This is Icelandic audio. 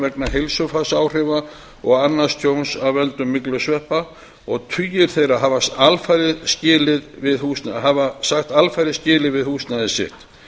vegna heilsufarsáhrifa og annars tjóns af völdum myglusveppa og tugir þeirra hafa sagt alfarið skilið við húsnæði sitt